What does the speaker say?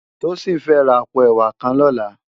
Tosin fè rá àpó èwá kàn lòlá